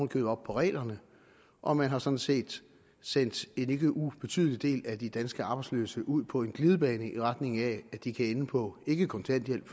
købet op på reglerne og man har sådan set sendt en ikke ubetydelig del af de danske arbejdsløse ud på en glidebane i retning af at de kan ende på ikke kontanthjælp